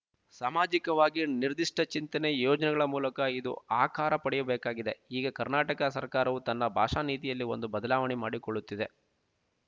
ಸಾಮಾಜಿಕವಾಗಿ ನಿರ್ದಿಷ್ಟ ಚಿಂತನೆ ಯೋಜನೆಗಳ ಮೂಲಕ ಇದು ಆಕಾರ ಪಡೆಯಬೇಕಾಗಿದೆ ಈಗ ಕರ್ನಾಟಕ ಸರಕಾರವು ತನ್ನ ಭಾಷಾ ನೀತಿಯಲ್ಲಿ ಒಂದು ಬದಲಾವಣೆ ಮಾಡಿಕೊಳ್ಳುತ್ತಿದೆ